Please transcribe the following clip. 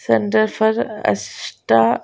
centre for Ashta--